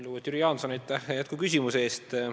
Lugupeetud Jüri Jaanson, aitäh jätkuküsimuse eest!